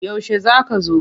Yaushe za ka zo?